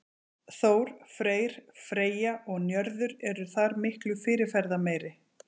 Þór, Freyr, Freyja og Njörður eru þar miklu fyrirferðarmeiri.